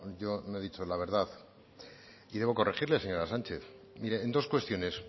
yo no he dicho la verdad y debo corregirle señora sánchez mire en dos cuestiones